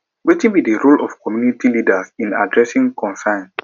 wetin be di role of community leaders in adressing concerns